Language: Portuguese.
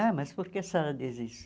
Ah, mas por que a senhora diz isso?